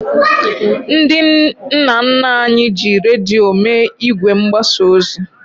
Ndị nna nna anyị ji redio mee ìgwè mgbasa ozi.